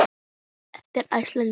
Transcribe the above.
eftir Ársæl Jónsson